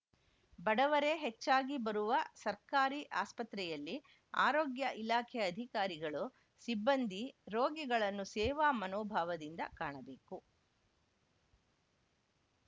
ಬಡವರೇ ಹೆಚ್ಚಾಗಿ ಬರುವ ಸರ್ಕಾರಿ ಆಸ್ಪತ್ರೆಯಲ್ಲಿ ಆರೋಗ್ಯ ಇಲಾಖೆ ಅಧಿಕಾರಿಗಳು ಸಿಬ್ಬಂದಿ ರೋಗಿಗಳನ್ನು ಸೇವಾ ಮನೋಭಾವದಿಂದ ಕಾಣಬೇಕು